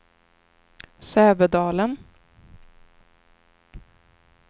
Sävedalen